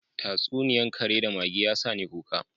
Tatsuniya kare da mage, ya sani kuka: